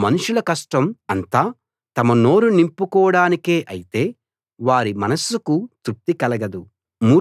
మనుషుల కష్టం అంతా తమ నోరు నింపుకోడానికే అయితే వారి మనస్సుకు తృప్తి కలగదు